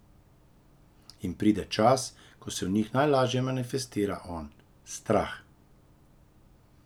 In pride čas, ko se v njih najlažje manifestira on, Strah.